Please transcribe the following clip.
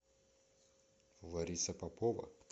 лариса попова